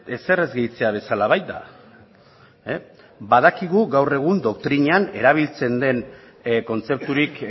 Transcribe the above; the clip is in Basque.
ezer ez gehitzea bezala baita badakigu gaur egun doktrinan erabiltzen den kontzepturik